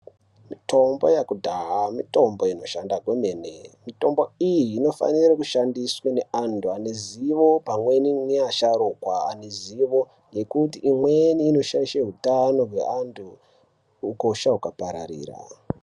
Mitombo yakudhaya mitombo inoshanda kwemene. Mitombo iyi inofanira kushandiswe neantu anezivo pamweni nevasharuka vane zuvo nekuti imweni inoshayisha hutano hwevantu hukosha huka pararira.